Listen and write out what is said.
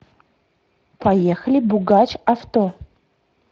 поехали бугач авто